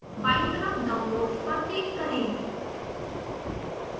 बायीं तरफ downloads पर क्लिक करें